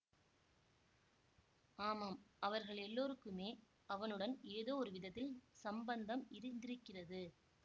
ஆமாம் அவர்கள் எல்லோருக்குமே அவனுடன் ஏதோ ஒரு விதத்தில் சம்பந்தம் இருந்திருக்கிறது